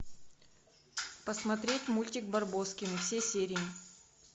посмотреть мультик барбоскины все серии